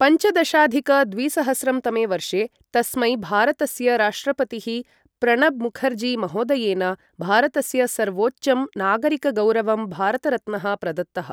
पञ्चदशाधिक द्विसहस्रं तमे वर्षे, तस्मै भारतस्य राष्ट्रपतिः प्रणब मुखर्जी महोदयेन भारतस्य सर्वोच्चं नागरिकगौरवं भारतरत्नः प्रदत्तः।